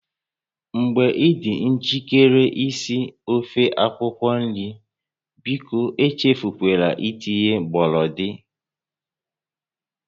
Mgbe ị dị njikere isi ofe akwukwo nri, biko echefula itinye gbọrọndị